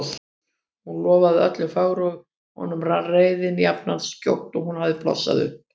Hún lofaði öllu fögru og honum rann reiðin jafn skjótt og hún hafði blossað upp.